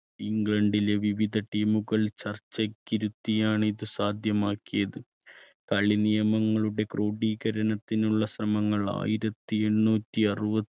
ഇംഗ്ലണ്ടിലെ വിവിധ team കൾ ചർച്ചക്കിരുത്തിയാണ് ഇത് സാധ്യമാക്കിയത് കളി നിയമങ്ങളുടെ ക്രോഡീകരണത്തിനുള്ള ശ്രമങ്ങൾ ആയിരത്തി എണ്ണൂറ്റി അറുപ